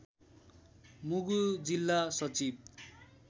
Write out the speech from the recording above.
मुगु जिल्ला सचिव